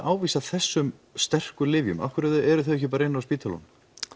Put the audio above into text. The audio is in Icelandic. ávísa þessum sterku lyfjum af hverju eru þau ekki bara inni á spítulunum